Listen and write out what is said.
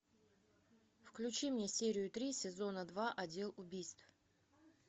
включи мне серию три сезона два отдел убийств